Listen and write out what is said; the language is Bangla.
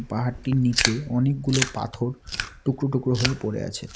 পাহাড়টির নীচে অনেকগুলো পাথর টুকরো টুকরো হয়ে পড়ে আছে।